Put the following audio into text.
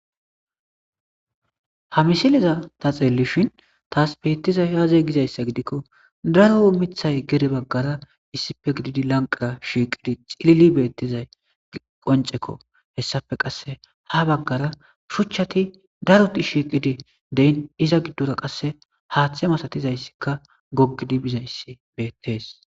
ha misileza ta xeellishin taas bettizay aaze gizayssa gidikko daro omithay gede baggara issippe gididi lanqara shiiqidi xilili beettizay qoncekko hessafe qasse ha baggara shuchchati daroti shiiqidi deyn iza giddora qasse haaththe masatizayssikka goggidi bizayssi beettees